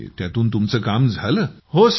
आणि त्यातून तुमचं काम झालं